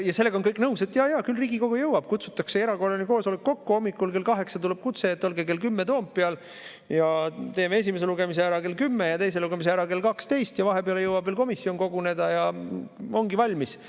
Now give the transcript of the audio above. Ja sellega on kõik nõus, et jaa-jaa, küll Riigikogu jõuab, kutsutakse erakorraline kokku, hommikul kell 8 tuleb kutse, et olge kell 10 Toompeal, teeme esimese lugemise ära kell 10 ja teise lugemise ära kell 12 ja vahepeal jõuab veel komisjon koguneda ja ongi valmis.